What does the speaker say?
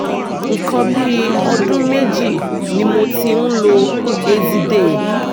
nǹkan bí ọdún méjì ni mo ti ń lo eziday